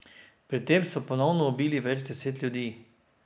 Pri tem so ponovno ubili več deset ljudi.